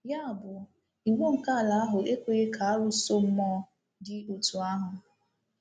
Ya bụ, iwu nke ala ahụ ekweghị ka arụsọ mmụọ dị otú ahụ.